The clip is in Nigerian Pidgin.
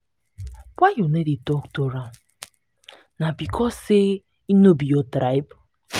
why you no dey tok to am? na because sey im no be your tribe?